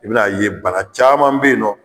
I bɛna ye bana caman bɛ yen nɔ